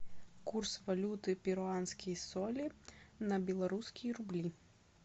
курс валюты перуанские соли на белорусские рубли